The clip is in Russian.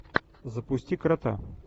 запусти крота